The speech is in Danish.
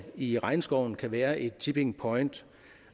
i regnskoven kan være et tipping point